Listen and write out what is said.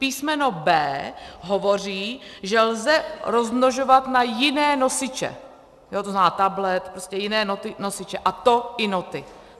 Písmeno b) hovoří, že lze rozmnožovat na jiné nosiče, to znamená tablet, prostě jiné nosiče, a to i noty.